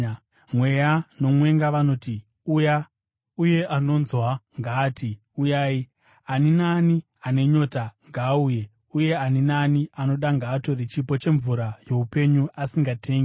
Mweya nomwenga vanoti, “Uya!” Uye anonzwa ngaati, “Uyai!” Ani naani ane nyota, ngaauye; uye ani naani anoda, ngaatore chipo chemvura youpenyu asingatengi.